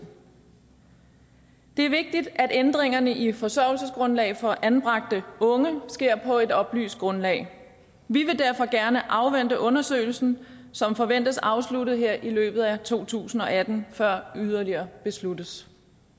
det er vigtigt at ændringerne i forsørgelsesgrundlaget for anbragte unge sker på et oplyst grundlag vi vil derfor gerne afvente undersøgelsen som forventes afsluttet her i løbet af to tusind og atten før yderligere besluttes